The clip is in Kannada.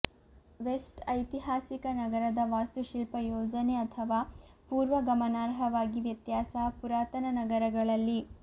ವೆಸ್ಟ್ ಐತಿಹಾಸಿಕ ನಗರದ ವಾಸ್ತುಶಿಲ್ಪ ಯೋಜನೆ ಅಥವಾ ಪೂರ್ವ ಗಮನಾರ್ಹವಾಗಿ ವ್ಯತ್ಯಾಸ ಪುರಾತನ ನಗರಗಳಲ್ಲಿ